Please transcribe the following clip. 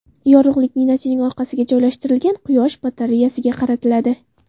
Yorug‘lik ninachining orqasiga joylashtirilgan quyosh batareyasiga qaratiladi.